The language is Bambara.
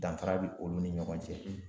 Danfara bɛ olu ni ɲɔgɔn cɛ